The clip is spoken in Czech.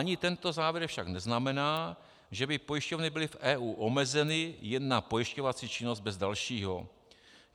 Ani tento závěr však neznamená, že by pojišťovny byly v EU omezeny jen na pojišťovací činnost bez dalšího.